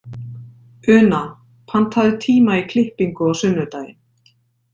Una, pantaðu tíma í klippingu á sunnudaginn.